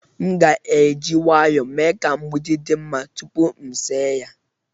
M ga-eji nwayọọ mee ka mgbidi dị mma echi tupu m ese ya.